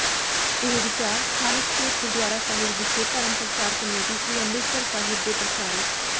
ਇਹ ਵਿਚਾਰ ਸਥਾਨਕ ਸਟੇਟ ਗੁਰਦੁਆਰਾ ਸਾਹਿਬ ਵਿਖੇ ਧਰਮ ਪ੍ਰਚਾਰ ਕਮੇਟੀ ਸ੍ਰੀ ਅੰਮਿ੍ਰਤਸਰ ਸਾਹਿਬ ਦੇ ਪ੍ਰਚਾਰਕ